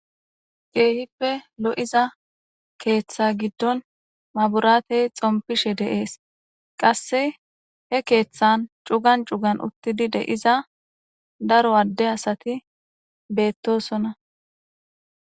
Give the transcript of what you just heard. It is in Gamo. Keehippe lo'iza keeththa giddon maburaatey xompishe deees qasse he keeththan cugan cugan uttidi de iza daro adde asati beettosona.